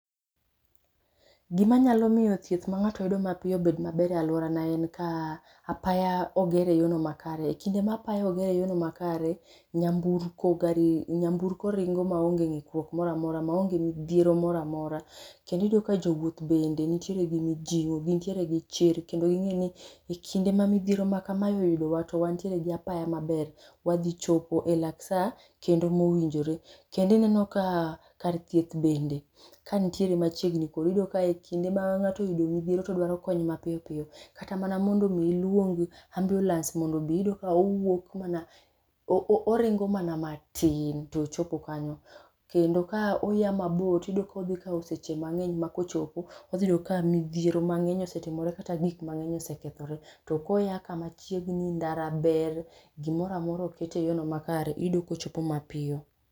Gima nyalo miyo thieth mang'ato yudo mapiyo bed maber e aluorana en ka apaya oger eyorno makare. Kinde ma apaya oger eyorno makare nyamburko, gari nyamburko ringo maonge ng'ikruok moro amora maonge midhiero moro amora. Kendo iyudo ka jowuoth bende nitiere gi mijing'o gin tiere gi chir kendo ging'eyo ni ekinde ma kamae oyudowa to wantiere gi apaya maber. Wadhi chopo elak sa kendo mowinjore. Kendo ineno ka kar thieth bende ka nitiere machiegni kodi iyudo ka ekinde ma ng'ato oyudo midhiero to dwaro kony mapiyo piyo kata mana mondo mi iluong ambiulens mondo obi, iyudo ka owuok mana, oringo mana matin to ochopo kanyo. Kendo ka oa mabor tiyudo kodhi kawo seche mang'eny makochopo, odhi yudo ka midhiero mang'eny osetimore kata gik mang'eny ose kethore. To koya kamachiegni, ndara ber, gimoro amora oket eyorno makare, iyudo kochopo mapiyo.